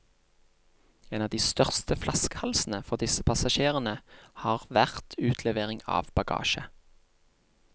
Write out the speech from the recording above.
En av de største flaskehalsene for disse passasjerene har vært utlevering av bagasje.